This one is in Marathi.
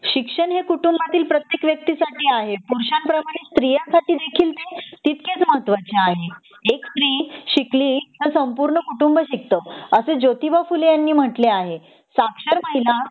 शिक्षण हे कुटुंबातील प्रत्येक व्यक्ति साठी आहे पुरुषांप्रमाणे स्त्रियांसाठी देखील ते तितकेच महत्वाचे आहे एक स्त्री शिकली की संपूर्ण कुटुंब शकतो असे जोतिबा फुले यांनी म्हणले आहे साक्षर महिला